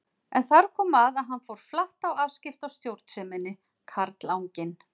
En þar kom að hann fór flatt á afskipta- og stjórnseminni, karlanginn.